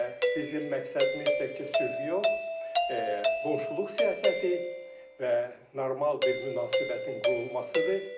Və bizim məqsədimiz təkcə sülh yox, qonşuluq siyasəti və normal bir münasibətin qurulmasıdır.